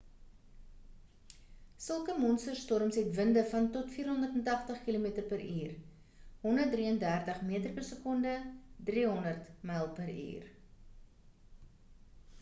sulke monster storms het winde van tot 480 km/h 133 m/s; 300 mph